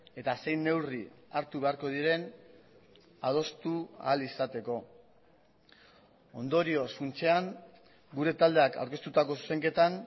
eta zein neurri hartu beharko diren adostu ahal izateko ondorioz funtsean gure taldeak aurkeztutako zuzenketan